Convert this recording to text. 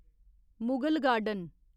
Mughal garden